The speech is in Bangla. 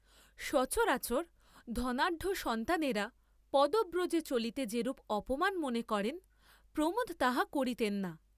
সচরাচর ধনাঢ্যসন্তানেরা পদব্রজে চলিতে যেরূপ অপমান মনে করেন, প্রমোদ তাহা করিতেন না।